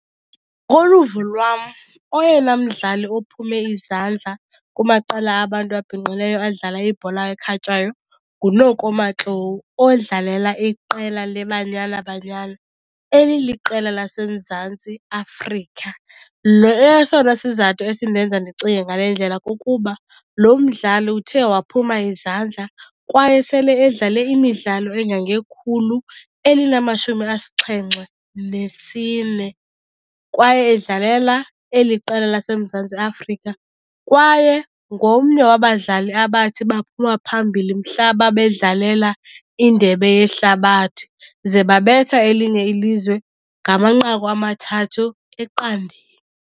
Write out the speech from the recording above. lwam oyena mdlali ophume izandla kumaqela abantu abhinqileyo adlala ibhola ekhatywayo kuNoku Matlou odlalela iqela leBanyana Banyana, eliliqela laseMzantsi Afrika. Esona sizathu esindenza ndicinge ngale ndlela kukuba lo mdlali uthe waphuma izandla kwaye sele edlale imidlalo engangekhulu elinamashumi asixhenxe nesine kwaye edlalela eli qela laseMzantsi Afrika. Kwaye ngomnye wabadlali abathi baphuma phambili mhla babedlalela indebe yehlabathi, ze babetha elinye ilizwe ngamanqaku amathathu eqandeni.